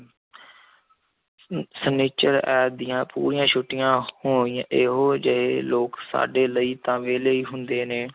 ਅਮ ਸਨਿਚਰ, ਐਤ ਦੀਆਂ ਪੂਰੀਆਂ ਛੁੱਟੀਆਂ ਹੋਣੀਆਂ, ਇਹੋ ਜਿਹੇ ਲੋਕ ਸਾਡੇ ਲਈ ਤਾਂ ਵਿਹਲੇ ਹੀ ਹੁੰਦੇ ਨੇ।